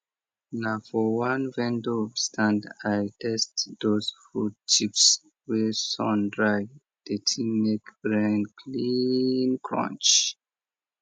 na for one vendor stand i taste those fruit chips wey sun dry the thing make brain clean crunch